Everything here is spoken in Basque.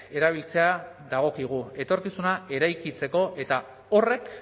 erabiltzea dagokigu etorkizuna eraikitzeko eta horrek